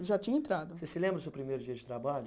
Já tinha entrado Você se lembra do seu primeiro dia de trabalho?